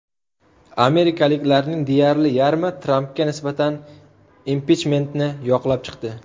Amerikaliklarning deyarli yarmi Trampga nisbatan impichmentni yoqlab chiqdi.